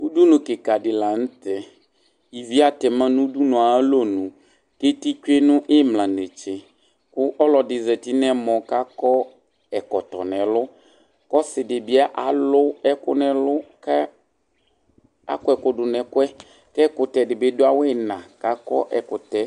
Ʋdʋnʋ kika di lanʋtɛ ivi atɛma nʋ ʋdʋnʋ yɛ ayʋ alɔnʋ kʋ eti tsue nʋ imla netse kʋ ɔlɔdi zati nʋ ɛmɔ kʋ akɔ ɛkɔtɔ nʋ ɛlʋ kʋ ɔsidibi alʋ ɛkʋ nʋ ɛlʋ kʋ akɔ ɛkʋ dʋnʋ ɛkʋɛ kʋ ɛkʋtɛkɔ dibi dʋ awʋ iima